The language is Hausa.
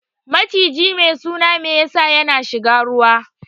Maciji mai suna mesa ya na shiga ruwa